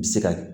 Bɛ se ka